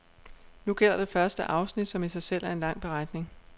Nu gælder det første afsnit, som i sig selv er en lang beretning.